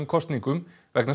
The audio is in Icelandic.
kosningum vegna